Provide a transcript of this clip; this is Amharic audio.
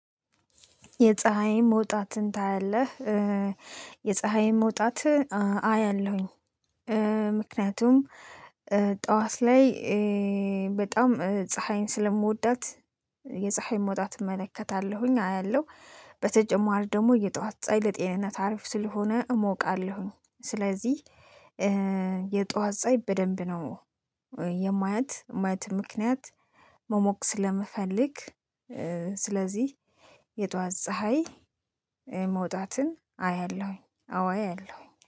የፀሀይን መውጣትን ታያለህ? የፀሀይን መውጣት አያለሁኝ ምክንያቱም ጠዋት ላይ በጣም ፀሀይን ስለምወዳት የፀሀይ መውጣት እመለከታለሁኝ አያለሁ በተጨማሪ ደግሞ የጠዋት ፀይ ለጤንነት አሪፍ ስለሆነ እሞቃለሁኝ ስለዚህ የጧት ፀሀይ በደንብ ነው የማያት ማየት ምክንያት መሞቅ ስለመፈለግ ስለዚህ የጧት ፀሀይ መውጣትን አያለሁኝ አወ አያለሁኝ